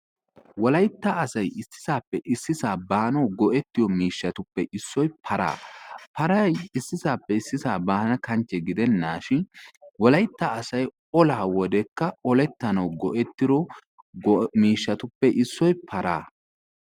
Wolaytta asay issisape issisa banawu goi'etiyo miishshatuppe issoy paraa. Paraay issisape issisa banakanche gidenashin wolaytta asay olaa wodekka oletanawu go'ettido go'o miishatupe issoy paraa.